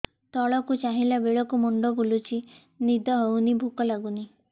ତଳକୁ ଚାହିଁଲା ବେଳକୁ ମୁଣ୍ଡ ବୁଲୁଚି ନିଦ ହଉନି ଭୁକ ଲାଗୁନି